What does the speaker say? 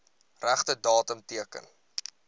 regte datum teken